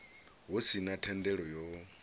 hu si na thendelo yo